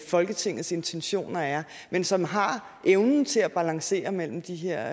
folketingets intentioner er men som har evnen til at balancere mellem de her